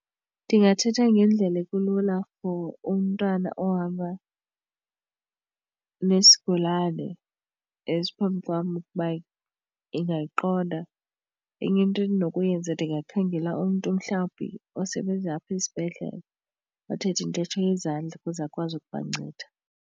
Ndingathetha ngendlela ekulula for umntwana ohamba nesigulane esiphambi kwam ukuba ingayiqonda. Enye into endinokuyenza ndingakhangela umntu mhlawumbi osebenza apha esibhedlele othetha intetho yezandla ukuze akwazi ukubanceda.